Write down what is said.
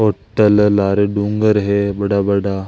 होटल लारे डूंगर है बड़ा-बड़ा।